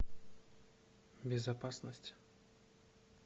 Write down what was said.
безопасность